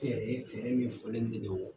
Kɛyɛrɛnye fɛɛrɛ min fɔlen de don